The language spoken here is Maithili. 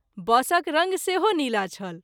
बसक रंग सेहो नीला छल।